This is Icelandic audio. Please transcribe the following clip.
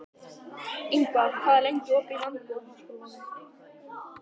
Ingvar, hvað er lengi opið í Landbúnaðarháskólanum?